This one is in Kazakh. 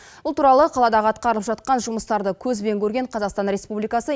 бұл туралы қаладағы атқарылып жатқан жұмыстарды көзбен көрген қазақстан республикасы